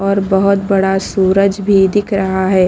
और बहोत बड़ा सूरज भी दिख रहा है।